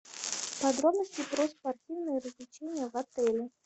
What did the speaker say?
подробности про спортивные развлечения в отеле